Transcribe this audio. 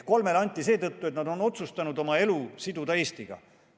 Kolmele anti seetõttu, et nad on otsustanud oma elu siduda Eestiga.